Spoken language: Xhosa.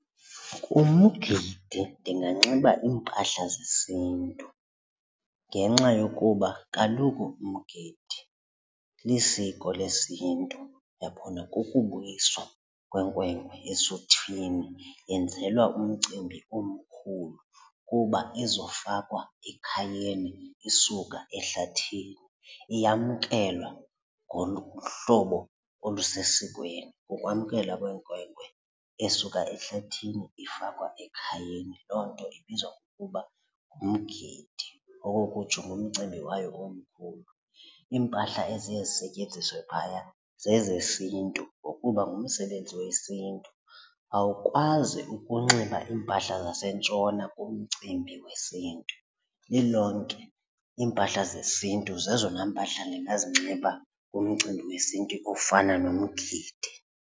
Kumgidi ndinganxiba iimpahla zesiNtu ngenxa yokuba kaloku umgidi lisiko lesiNtu, uyabona? Kukubuyiswa kwenkwenkwana esuthwini yenzelwa umcimbi omkhulu kuba izofakwa ekhayeni isuka ehlathini iyamkelwa ngohlobo olusesikweni. Kukwamkela lwenkwenkwe esuka ehlathini ifakwa ekhayeni. Loo nto ibizwa ngokuba ngumgidi okokutsho ngumcimbi wayo omkhulu. Iimpahla eziye zisetyenziswe phaya zezesiNtu ngokuba ngumsebenzi wesiNtu awukwazi ukunxiba iimpahla zasentshona kumcimbi wesiNtu. Lilonke iimpahla zesiNtu zezona mpahla ndingazinxibanga ngumcimbi wesiNtu ofana nomgidi.